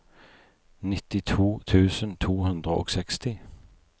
nittito tusen to hundre og seksti